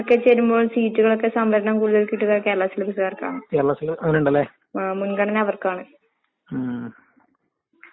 Degree first ചെയ്ത് first year കംപ്ലീറ്റെയ്ത്, കംപ്ലീറ്റെയ്യുമ്പഴത്തേക്കാർന്ന് എന്റെ കല്യാണം കഴിഞ്ഞെ. അങ്ങനെ എനക്കത് കംപ്ലീറ്റ് ചെയ്യാൻ പറ്റീല്ല.